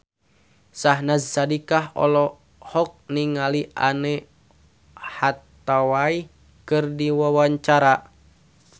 Syahnaz Sadiqah olohok ningali Anne Hathaway keur diwawancara